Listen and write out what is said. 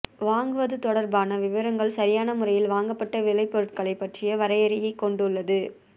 வாங்குவது தொடர்பான விவரங்கள் சரியான முறையில் வாங்கப்பட்ட விளைபொருட்களைப் பற்றிய வரையறையைக் கொண்டுள்ளது